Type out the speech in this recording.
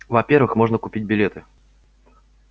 во-первых можно купить билеты